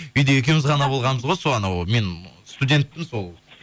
үйде екеуіміз ғана болғанбыз ғой сол анау мен студентпін сол